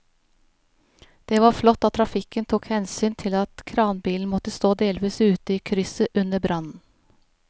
Det var flott at trafikken tok hensyn til at kranbilen måtte stå delvis ute i krysset under brannen.